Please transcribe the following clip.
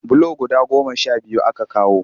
Bulo guda goma sha biyu aka kawo